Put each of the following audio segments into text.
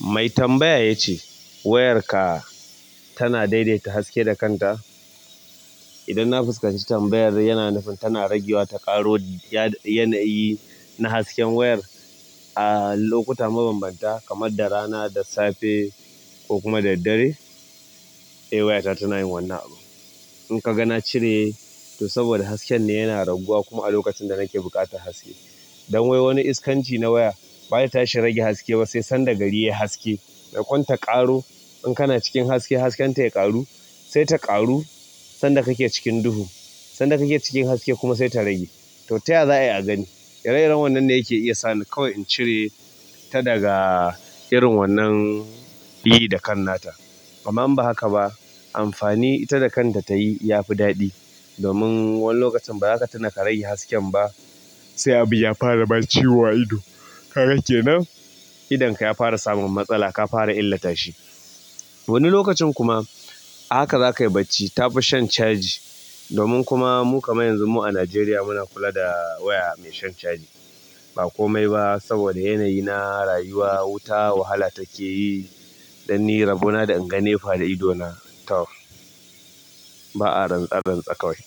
Mai tambaya ya ce wayarka tana daidaita haske da kanta? Idan na fuskanci tambayar yana nufin tana ragewa ta ƙaro yanayi na hasken wayar a lokuta mabambanta kamar da rana da safe ko kuma da dare? Eh wayata tana yin wannan abu. In ka ga na cire to saboda hasken ne yana raguwa kuma a lokacin da nake buƙatar haske. Don wai wani iskanci na waya baya tashi rage haske ba sai sanda gari yayi haske. Maimakon ta ƙaro in kana cikin haske hasken ta ya ƙaru? Sai ta ƙaru sanda ka ke cikin duhu sanda kake cikin haske kuma sai ta rage. To taya za'a yi a gani. Ire iren wannan ne yake iya sa ni kawai in cire ta daga irin wannan yi da kan nata. Amman in ba haka ba amfani ita da kanta ta yi ya fi daɗi. Domin wani lokacin ba za ka tuna ka rage hasken ba sai abu ya fara ma ciwo a ido. Ka ga kenan idon ka ya fara samun matsala ka fara illata shi. Wani lokacin kuma a haka za ka yi bacci ta fi shan caji. Domin kuma mu kaman yanzu mu a Najeriya muna kula da waya mai shan caji. Ba komai ba saboda yanayi na rayuwa wuta wahala take yi. Dan ni rabona da in ga NEPA da ido na taur. Ba'a rantse rantse kawai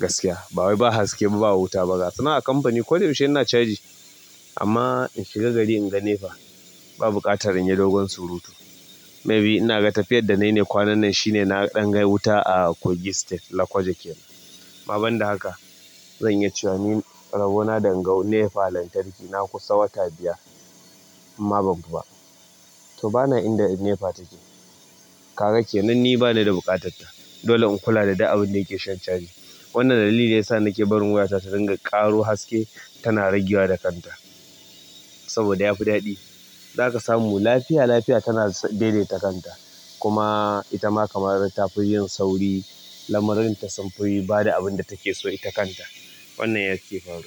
gaskiya. Bawai ba haske ba wuta ba ga. Sannan a kamfani ko da yaushe ina caji amma in shiga gari in ga NEPA ba buƙatar in yi dogon surutu. Maybe ina ga tafiyar da na yi ne kwanan nan shine na ɗan ga wuta a kogi state, Lokoja ke. Amma banda haka zan iya cewa ni rabona da in ga NEPA lantarki na kusa wata biyar in ma ban fi ba. To bana inda in NEPA take. Kaga kenan ni bani da buƙatar ta dole in kula da duk abun da yake shan caji. Wannan dalili ne ya sa nake barin wayata ta ringa ƙaro haske tana ragewa da kanta saboda ya fi daɗi. Za ka samu lafiya lafiya tana daidaita kanta. Kuma ita ma kamar ta fi yin sauri lamarin ta sam fu ba da abin da take so ita kanta. Wannan yake faruwa.